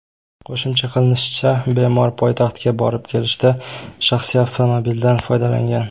Qo‘shimcha qilinishicha, bemor poytaxtga borib-kelishda shaxsiy avtomobildan foydalangan.